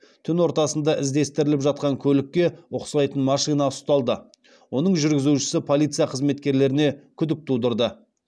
түн ортасында іздестіріліп жатқан көлікке ұқсайтын машина ұсталды оның жүргізушісі полиция қызметкерлеріне күдік тудырды